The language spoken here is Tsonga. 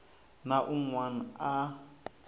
na un wana a a